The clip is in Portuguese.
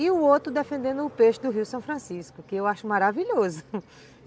E o outro defendendo o peixe do rio São Francisco, que eu acho maravilhoso